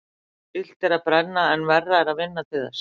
Illt er að brenna en verra er að vinna til þess.